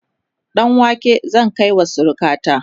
ɗanwake zan kaiwa surukata